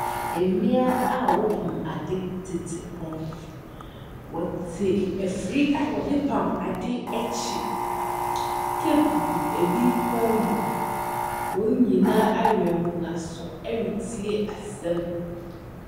Mmea a wɔpam ade tete hɔ, wɔte afiri a wɔde pam ade akyi, teep gugu ebi kɔn mu, wɔn nyinaa awɛn wɔn aso ɛretie asɛm.